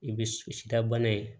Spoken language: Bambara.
I bɛ sidabana ye